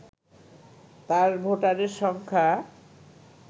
তার ভোটারের সংখ্যা